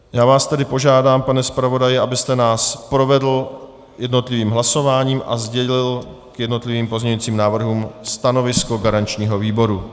Já vás tedy požádám, pane zpravodaji, abyste nás provedl jednotlivým hlasováním a sdělil k jednotlivým pozměňovacím návrhům stanovisko garančního výboru.